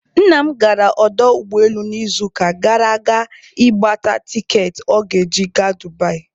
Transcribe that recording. Nna m gara ọdọ ụgbọelu n'izuụka gara aga ịgbata tikeetị ọ ga-eji gaa Dubai.